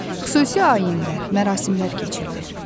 Xüsusi ayinlər, mərasimlər keçirilir.